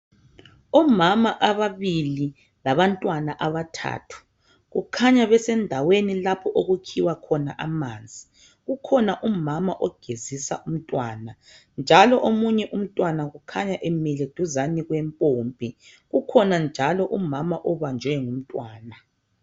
Omama ababili labantwana abathathu kukhanya besendaweni lapho okukhiwa khona amanzi. Kukhona umama ogezisa umntwana njalo omunye umntwana kukhanya emile duzane kwempompi. Kukhona njalo umama obanjwe ngumntwana.